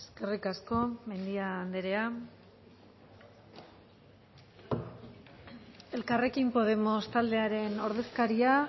eskerrik asko mendia anderea elkarrekin podemos taldearen ordezkaria